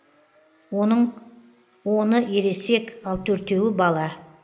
оның оны ересек ал төртеуі бала